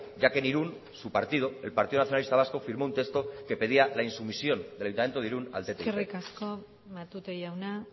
ya que en irún su partido el partido nacionalista vasco firmó un texto que pedía la insumisión del ayuntamiento de irún al ttip eskerrik asko matute jauna